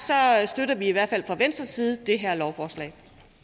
støtter vi i hvert fald fra venstres side det her lovforslag